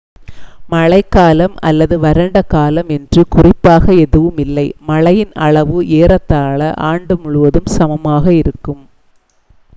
மழைக்காலம் அல்லது வறண்ட காலம் என்று குறிப்பாக எதுவும் இல்லை மழையின் அளவு ஏறத்தாழ ஆண்டு முழுவதும் சமமாக இருக்கும்